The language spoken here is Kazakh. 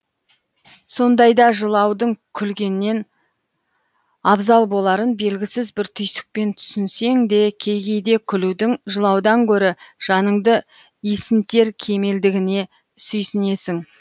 сондайда жылаудың күлгеннен абзал боларын белгісіз бір түйсікпен түсінсең де кей кейде күлудің жылаудан гөрі жаныңды исінтер кемелдігіне сүйсінесің